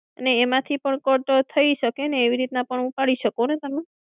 અને એમાંથી પણ cut થઈ શકે ને. એવી રીતને પણ ઉપાડી શકો ને તમે.